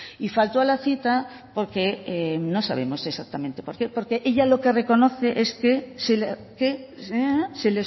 y faltó a la cita porque no sabemos exactamente por qué porque ella lo que reconoce es que se